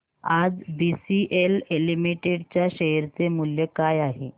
आज BCL limited च्या share चे मूल्य काय आहे